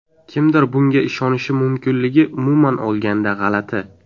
Kimdir bunga ishonishi mumkinligi umuman olganda g‘alati.